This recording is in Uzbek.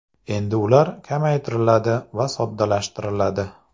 Endi ular kamaytiriladi va soddalashtiriladi.